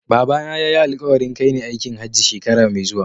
Babana ya yi alƙawarin kai ni aikin Hajji shekara mai zuwa.